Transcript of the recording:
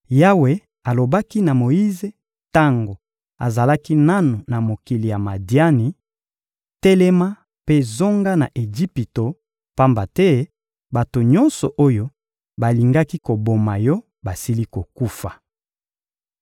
Yawe alobaki na Moyize tango azalaki nanu na mokili ya Madiani: — Telema mpe zonga na Ejipito, pamba te bato nyonso oyo balingaki koboma yo basili kokufa.